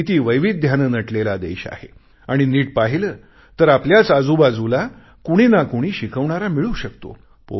किती वैविध्याने नटलेला देश आहे आणि नीट पाहिले तर आपल्याच आजूबाजूला कुणी ना कुणी शिकवणारा मिळू शकतो